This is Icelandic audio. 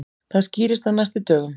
Það skýrist á næstu dögum.